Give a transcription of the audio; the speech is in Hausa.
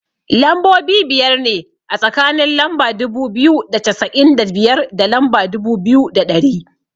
Lambobi biyar ne, a tsakanin lamba dubu biyu da cassa'in da biyar, da lamba dubu biyu da ɗari.